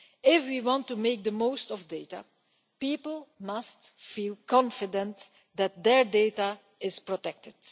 If we want to make the most of data, people must feel confident that their data is protected.